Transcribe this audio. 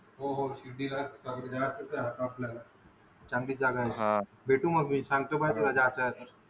हो हो शिर्डीला जायच तर आहे आपल्याला चांगली जागा आहे हा भेटू मग मी संगतो कधी जायच आहे तर